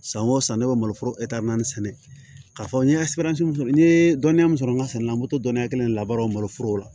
San o san ne bɛ maloforo naani sɛnɛ k'a fɔ n ye min fɔ n ye dɔnniya min sɔrɔ n ka sɛnɛla n bɛ to dɔnniya kelen labaaraw maloforo la